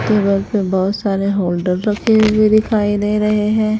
Cooler पे बहोत सारे होल्डर रखे हुए दिखाई दे रहे हैं।